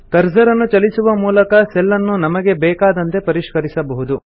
ಕರ್ಸರನ್ನು ಚಲಿಸುವ ಮೂಲಕ ಸೆಲ್ ನ್ನು ನಮಗೆ ಬೇಕಾದಂತೆ ಪರಿಷ್ಕರಿಸಬಹುದು